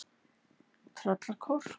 Tröllakór